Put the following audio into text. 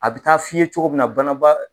A bɛ taa f'i ye cogo min na